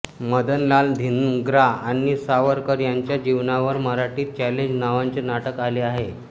मदनलाल धिंग्रा आणि सावरकर यांच्या जीवनावर मराठीत चॅलेंज नावाचे नाटक आले आहे